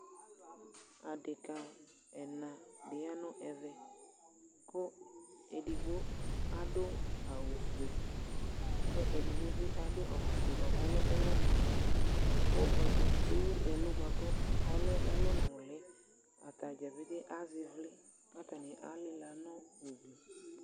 Adeka ɛna di ya nu ɛvɛ Ku ɛdigbo du awu fue Kɛ ɛdigbo bi du awu fue kɔlɛ uwɔ nuli Ku ɛdigbo ɛwu ɛlu bua ku ɔlɛ uwɔ nuli Atadza petee azɛ ιvlιKatani alila nu ugli